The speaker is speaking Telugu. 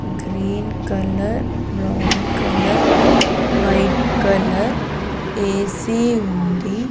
Green colour brown colour white colour A C ఉంది.